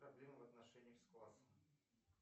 проблемы в отношении с классом